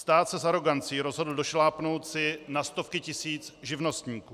Stát se s arogancí rozhodl došlápnout si na stovky tisíc živnostníků.